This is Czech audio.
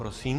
Prosím.